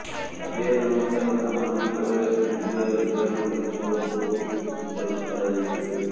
ସମ୍ବେଦନଶୀଳ ସ୍ଥାନ ଗୁଡ଼ିକରେ କେନ୍ଦ୍ରୀୟ ରିଜର୍ଭ ପୁଲିସ୍ ଫୋର୍ସଙ୍କୁ ମୁତୟନ କରାଯାଇଛି